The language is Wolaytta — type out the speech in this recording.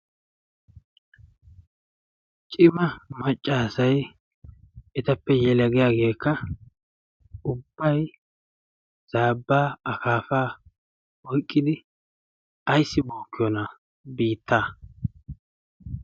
cima maccaasai etappe yelagiyaageekka ubbay zaabbaa akaafaa oyqqidi ayssi bookkiyoona biitta.